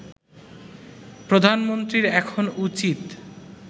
প্রধানমন্ত্রীর এখন উচিৎ